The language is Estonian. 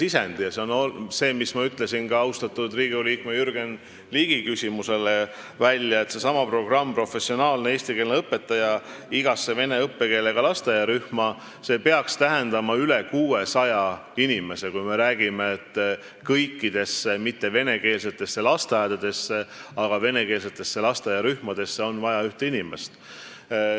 Nagu ma ütlesin ka austatud Riigikogu liikme Jürgen ligi küsimusele vastates, seesama programm, professionaalne eestikeelne õpetaja igasse vene õppekeelega lasteaiarühma, peaks tähendama üle 600 inimese, sest kõikidesse venekeelsetesse lasteaiarühmadesse on vaja ühte inimest.